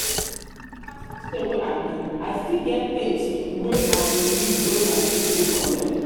as christian wey i be i still get tins wey i belif wey my faith no condem